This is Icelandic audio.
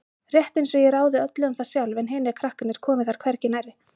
Rétt einsog ég ráði öllu um það sjálf en hinir krakkarnir komi þar hvergi nærri.